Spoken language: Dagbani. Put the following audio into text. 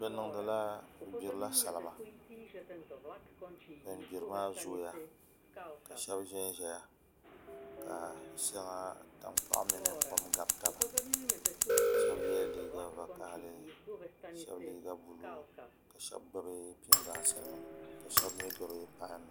Bi gbirila salima bin gbiri maa zooya ka shab ʒɛnʒɛya la shɛŋa tankpaɣu mini kom gabi taba shab yɛla liiga vakaɣali shab liiga buluu ka shab gbuni pingaasi nima ka shab mii gbubi pai nima